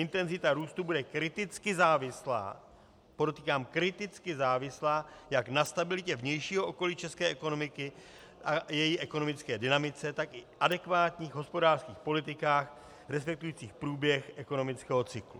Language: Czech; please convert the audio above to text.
Intenzita růstu bude kriticky závislá - podotýkám kriticky závislá - jak na stabilitě vnějšího okolí české ekonomiky a její ekonomické dynamice, tak i adekvátních hospodářských politikách, respektujících průběh ekonomického cyklu.